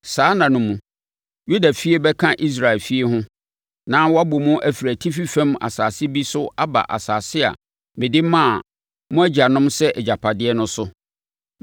Saa nna no mu, Yudafie bɛka Israel efie ho, na wɔabɔ mu afiri atifi fam asase bi so aba asase a mede maa mo agyanom sɛ agyapadeɛ no so.